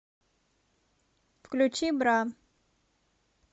включи бра